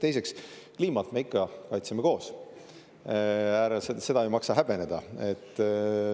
Teiseks, kliimat me ikka kaitsme koos, seda ei maksa häbeneda.